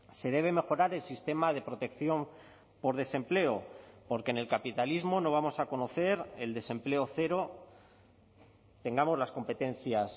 se debe mejorar el sistema de protección por desempleo porque en el capitalismo no vamos a conocer el desempleo cero tengamos las competencias